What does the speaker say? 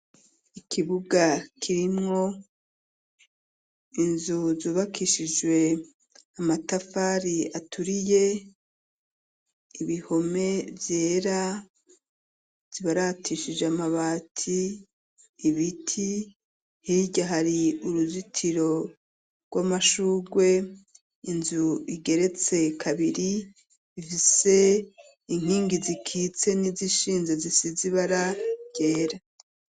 Ikibuga kirimwo inzu zubakishijwe amatafari aturiye, ibihome vyera zibaratishije amabati, ibiti ,hirya hari uruzitiro rw'amashurwe ,inzu igeretse kabiri ifise inkingi zikitse n'izishinze zisize ibara ryera.